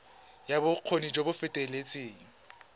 ya bokgoni jo bo feteletseng